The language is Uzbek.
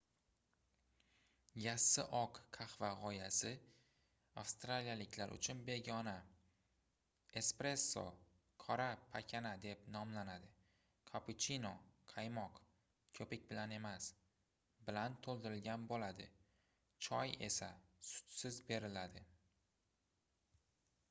"yassi oq qahva g'oyasi avstraliyaliklar uchun begona. espresso qora pakana deb nomlanadi kapuchino qaymoq ko'pik bilan emas bilan to'ldirligan bo'ladi choy esa sutsiz beriladi